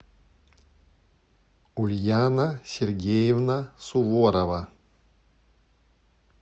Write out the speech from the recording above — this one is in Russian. ульяна сергеевна суворова